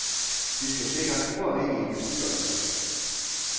De skal sikres uafhængige bestyrelser.